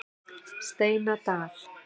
Steinadal